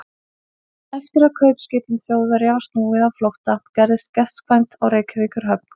Eftir að kaupskipum Þjóðverja var snúið á flótta, gerðist gestkvæmt á Reykjavíkurhöfn.